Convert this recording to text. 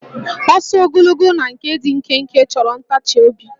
Ọsọ ogologo na nke dị nkenke chọrọ ntachiobi